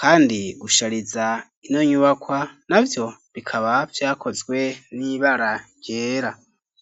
kandi gushariza ino nyubakwa navyo bikaba vyakozwe n'ibara ryera.